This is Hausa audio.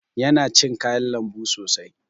Yana cin kayan lambu sosai.